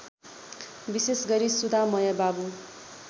विशेषगरी सुधामय बाबु